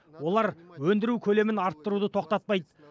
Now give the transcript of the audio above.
олар өндіру көлемін арттыруды тоқтатпайды